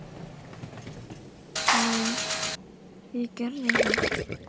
Nú, ég gerði það.